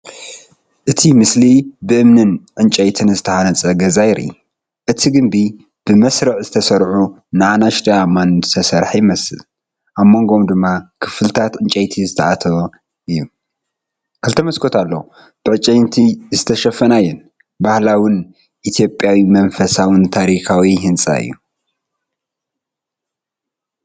እቲ ስእሊ ብእምንን ዕንጨይትን ዝተሃንጸ ገዛ የርኢ። እቲ ግምቢ ብመስርዕ ዝተሰርዑ ንኣሽቱ ኣእማን ዝተሰርሐ ይመስል ኣብ መንጎኦም ድማ ክፍልታት ዕንጨይቲ ዝተኣተወ እዩ። ክልተ መስኮት ኣለዋ ብዕንጨይቲ ዝተሸፈና እየን። ባህላዊን ኢትዮጵያዊ መንፈሳዊ ን ታሪኻዊ ህንጻ እዩ።